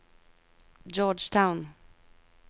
Georgetown